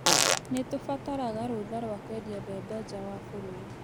Nĩ tũbataraga rũtha rwa kwendia mbembe njaa wa bũrũri.